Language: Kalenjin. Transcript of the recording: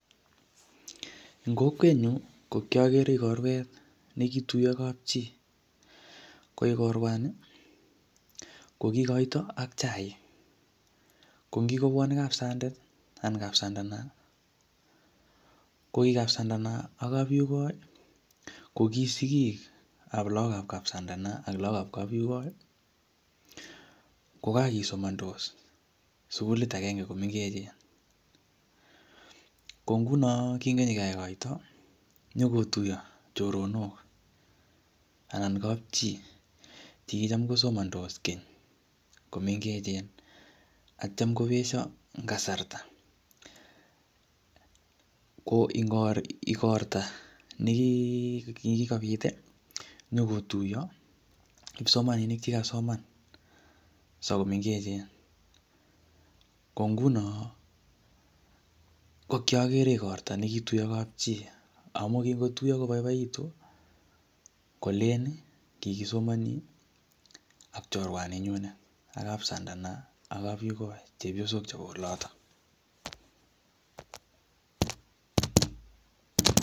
BACKGROUND NOISES